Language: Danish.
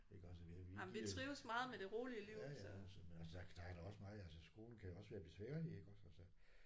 Iggås og vi giver ja ja så der der er da også meget altså skolen kan jo også være besværlig iggås altså